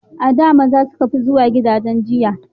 A da maza suka fi zuwa gidajen giya